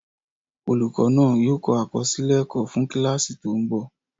Olùkọ́ náà yóò kọ àkọsílẹ̀ ẹ̀kọ́ fún kíláàsì tó ń bọ̀